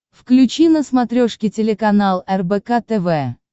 включи на смотрешке телеканал рбк тв